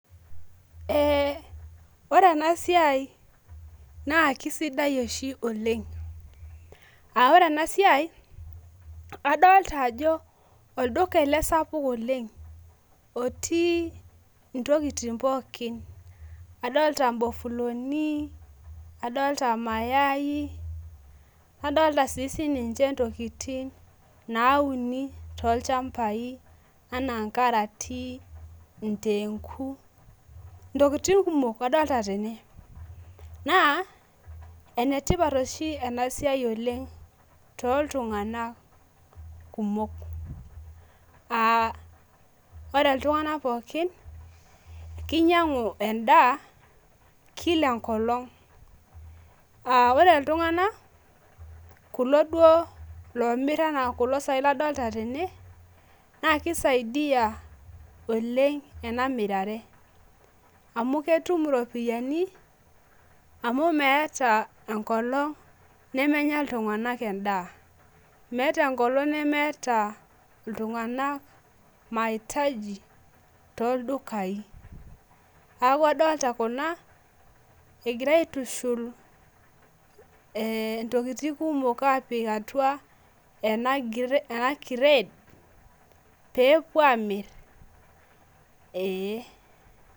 Eh ore ena siai naa kisidai oshi oleng ah ore ena siai adolita ajo olduka ele sapuk oleng otii intokitin pookin adolita ibofuloni nadolita maayai adolita sininche intokitin nauni tolchambai ah karati indenguu tokitin kumok adolita tene naa enetipat oshi ena siai oleng toltunganak kumok ah ore iltunganak pookin kinyangu endaa kila ekolong ah ore iltunganak kulo duo loomir enaa kulo sai ladolita tene naa kisaidia oleng ena mirare amu ketum iropiyani amu meeta ekolong nemenya iltunganak endaa metaa ekolong nemeata iltunganak imahitaji toldukai neaku adolita kuna egirae aitushul intokitin kumok apik atua ena kiret peepuo amir eh.